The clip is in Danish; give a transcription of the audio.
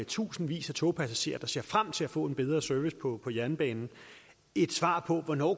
tusindvis af togpassagerer der ser frem til at få en bedre service på på jernbanen et svar på hvornår